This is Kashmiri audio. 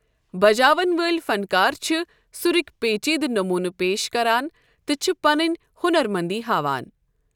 بجاوَن وٲلۍ فنکار چھِ سُرٕکۍ پیچیدٕ نمونہٕ پیش کران تہٕ چھِ پنٕنۍ ہُنَر منٛدی ہاوان۔